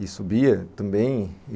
e subia também.